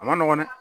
A ma nɔgɔn dɛ